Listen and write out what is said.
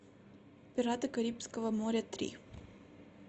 пираты карибского моря три